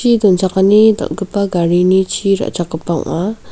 chi donchakani dal·gipa garini chi ra·chakgipa ong·a.